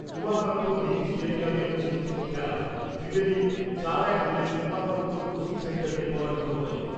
Umakanta mini স্টেডিয়ামে অনুষ্ঠিত খেলায় ত্রিবেনী চার এক গোলে উমাকান্ত কোচিং সেন্টারকে পরাজিত করে ।